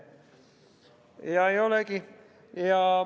Ja ei olegi!